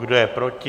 Kdo je proti?